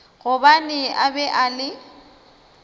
gobane a be a le